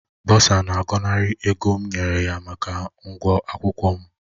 Bọsa na-agọnarị ego m nyere ya maka ụgwọ akwụkwọ m